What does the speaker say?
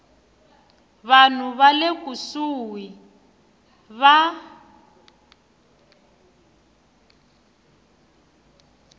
vanhu va le kusuhi va